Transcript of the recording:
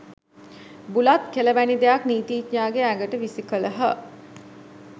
බුලත් කෙළ වැනි දෙයක් නීතිඥයාගේ ඇඟට විසි කළහ.